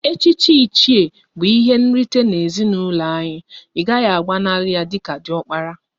Echichi Iche bụ ihe nrite n'ezinụlọ anyị, ị gaghị agbanali ya dịka diokpara!